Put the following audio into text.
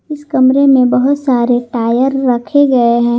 इस कमरे में बहोत सारे टायर रखे गए हैं।